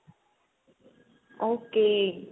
ok